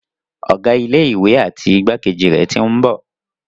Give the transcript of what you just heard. Ọ̀gá ilé ìwé àti igbákejì rẹ̀ tí ń bọ̀.